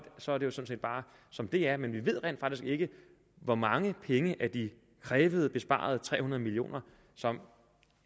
sådan set bare som det er men vi ved rent faktisk ikke hvor mange penge af de krævede besparede tre hundrede million kr som